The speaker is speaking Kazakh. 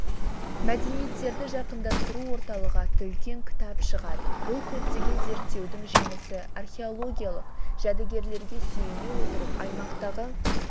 мәдениеттерді жақындастыру орталығы атты үлкен кітап шығады бұл көптеген зерттеудің жемісі археологиялық жәдігерлерге сүйене отырып аймақтағы